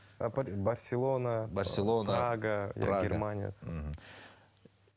барсенола барселона прага прага германия мхм